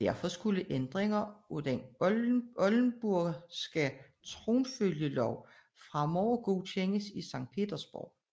Derfor skulle ændringer af den oldenburgske tronfølgelov fremover godkendes i Sankt Petersborg